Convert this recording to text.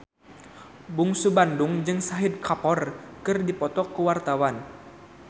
Bungsu Bandung jeung Shahid Kapoor keur dipoto ku wartawan